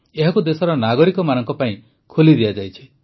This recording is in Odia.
ଏହାକୁ ଦେଶର ନାଗରିକମାନଙ୍କ ପାଇଁ ଖୋଲି ଦିଆଯାଇଛି